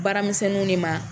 Baara misɛnninw de ma.